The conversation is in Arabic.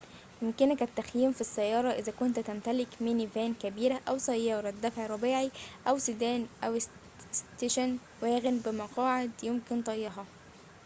يمكنك التخييم في السّيارة إذا كنت تمتلك ميني فان كبيرة أو سيارة دفعٍ رباعي أو سيدان أو ستيشن واغن بمقاعد يمكن طيّها